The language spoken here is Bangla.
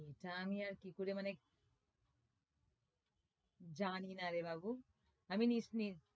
জানিনা রে বাবু আমি নিজে নিজেই